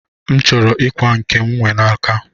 M chọrọ m ikwa nke m nwe n'aka